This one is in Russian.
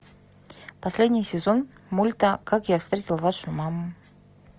последний сезон мульта как я встретил вашу маму